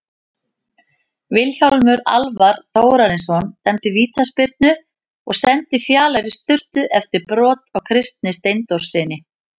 Vilhjálmur Alvar Þórarinsson dæmdi vítaspyrnu og sendi Fjalar í sturtu eftir brot á Kristni Steindórssyni.